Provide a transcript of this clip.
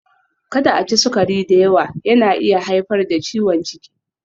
Kada a ci sukari da yawa, yana iya haifar da ciwon ciki.